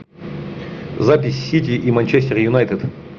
запись сити и манчестер юнайтед